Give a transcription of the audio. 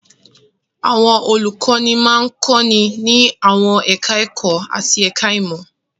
Àwọn olùkọ́ní máa ń kọ́ni ní àwọn ẹ̀ka-ẹ̀kọ́ àti ẹ̀ka-ìmọ̀.